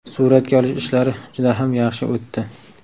Suratga olish ishlari juda ham yaxshi o‘tdi.